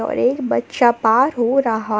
एक बच्चा पार हो रहा--